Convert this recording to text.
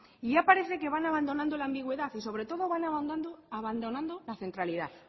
y ya parece que van abandonando la ambigüedad y sobre todo van abandonando la centralidad